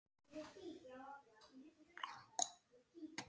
Og hvað með það, vinur?